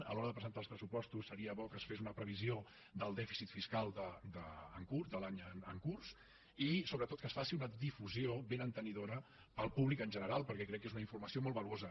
a l’hora de presentar els pressupostos seria bo que es fes una previsió del dèficit fiscal en curs de l’any en curs i sobretot que es faci una difusió ben entenedora per al públic en general perquè crec que és una informació molt valuosa